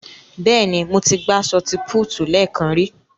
Bẹ́ẹ̀ ni, mo ti gbá ṣọọti púútù lẹ́ẹ̀kan ri.